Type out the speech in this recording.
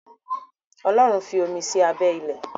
Ọlọ́run fí omi sí abẹ́ ilẹ̀.